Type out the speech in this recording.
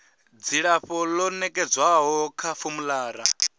dzilafho ḽo nekedzwaho kha formulary